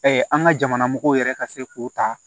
an ka jamana mɔgɔw yɛrɛ ka se k'o ta